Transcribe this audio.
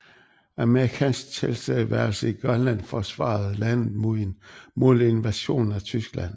Amerikansk tilstedeværelse i Grønland forsvarede landet mod en mulig invasion af Tyskland